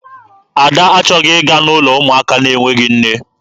Ada achọghị ịga n'ụlọ ụmụaka na-enweghị nne.